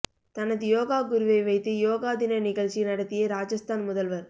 தனது யோகா குருவை வைத்து யோகா தின நிகழ்ச்சி நடத்திய ராஜஸ்தான் முதல்வர்